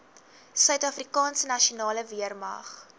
suidafrikaanse nasionale weermag